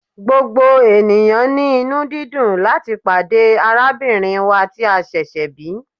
Gbogbo eniyan ni inu-didùn lati pade arabinrin wa ti a ṣẹṣẹ bi